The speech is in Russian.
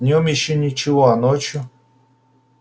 днём ещё ничего а ночью